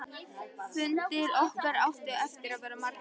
Fundir okkar áttu eftir að verða margir.